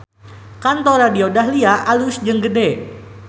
Kantor Radio Dahlia alus jeung gede